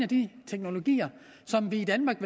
de teknologier som vi i danmark